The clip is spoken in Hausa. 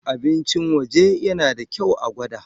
Abincin waje yana da kyau a gwada.